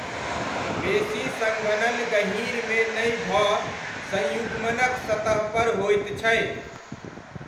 बेसी सङ्घनन गँहीरमे नहि भऽ संयुग्मनक सतहपर होइत छै।